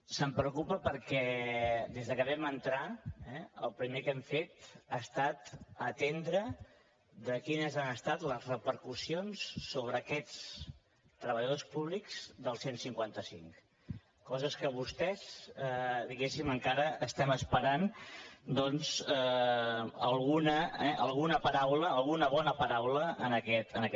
se’n preocupa perquè des de que vam entrar el primer que hem fet ha estat atendre quines han estat les repercussions sobre aquests treballadors públics del cent i cinquanta cinc coses que vostès diguéssim encara estem esperant alguna paraula alguna bona paraula en aquest sentit